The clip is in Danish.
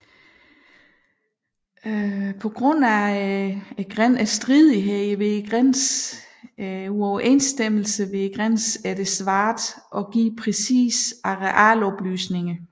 På grund af grænsestridighederne er det svært at give præcise arealoplysninger